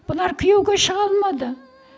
бұлар күйеуге шыға алмады